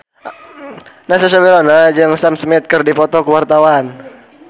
Natasha Wilona jeung Sam Smith keur dipoto ku wartawan